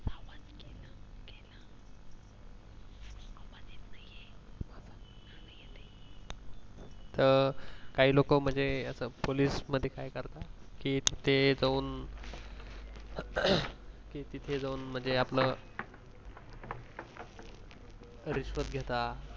अ काही लोक म्हणजे ते पोलीस मध्ये काय करतात कि ते जाऊन रिश्वत घेतात